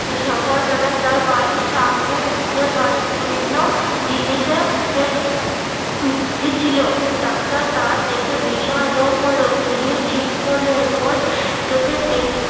সকাল বেলা তার বাড়ির সামনে বৃদ্ধর বাড়ি বিভিন্ন জিনিসের ভিত্তি ছিল। ডাক্তার তা দেখে ভীষণ লোভ হলো তিনি ঠিক কলে রোজ তাকে দেখ~